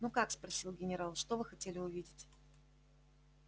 ну как спросил генерал что вы хотели увидеть